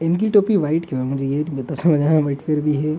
इनकी टोपी व्हाइट क्यों है मुझे ये नहीं पता समझ आया व्हाइट कलर भी है।